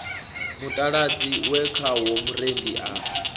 mutaladzi we khawo murendi a